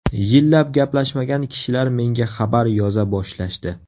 Yillab gaplashmagan kishilar menga xabar yoza boshlashdi.